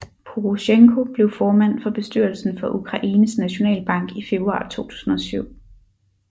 Porosjenko blev formand for bestyrelsen for Ukraines Nationalbank i februar 2007